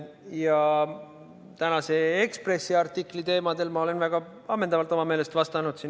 Ja tänase Eesti Ekspressi artikli teemadel olen ma enda meelest juba väga ammendavalt vastanud.